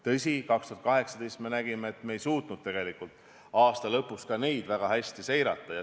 Tõsi, 2018 me nägime, et me ei suutnud tegelikult aasta lõpus kõike väga hästi seirata.